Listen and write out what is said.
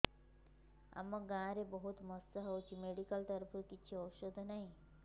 ଆମ ଗାଁ ରେ ବହୁତ ମଶା ହଉଚି ମେଡିକାଲ ତରଫରୁ କିଛି ଔଷଧ ନାହିଁ